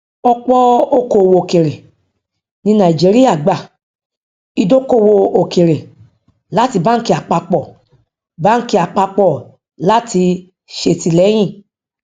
ọpọ òkòowò òkèèrè ní nàìjíríà gba ìdókòwò òkèèrè láti báńkì àpapọ báńkì àpapọ láti ṣètìlẹyìn